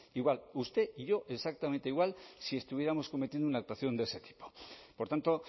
igual usted y yo exactamente igual si estuviéramos cometiendo una actuación de ese tipo por tanto